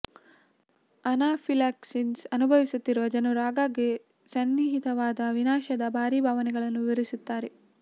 anaphylaxis ಅನುಭವಿಸುತ್ತಿರುವ ಜನರು ಆಗಾಗ್ಗೆ ಸನ್ನಿಹಿತವಾದ ವಿನಾಶದ ಭಾರಿ ಭಾವನೆಗಳನ್ನು ವಿವರಿಸುತ್ತಾರೆ